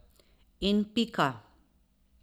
In pika.